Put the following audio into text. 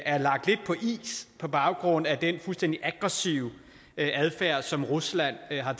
er lagt lidt på is på baggrund af den fuldstændig aggressive adfærd som rusland har